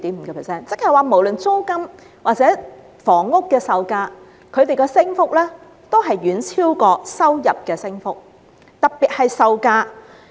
由此可見，無論是房屋的租金或售價，其升幅均遠超收入升幅，並以售價升幅尤甚。